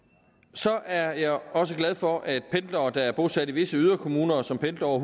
så er jeg også glad for at pendlere der er bosat i visse yderkommuner og som pendler over